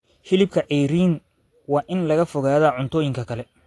Hilibka ceeriin waa in laga fogaadaa cuntooyinka kale.